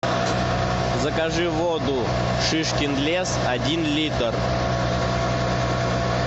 закажи воду шишкин лес один литр